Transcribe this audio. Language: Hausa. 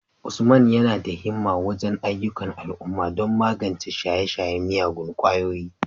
Usman yana da himma wajen ayyukan al'umma don magance shaye-shayen miyagun kwayoyi,